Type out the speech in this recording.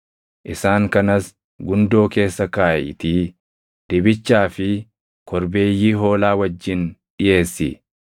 Isaan kanas gundoo keessa kaaʼiitii dibichaa fi korbeeyyii hoolaa wajjin dhiʼeessi.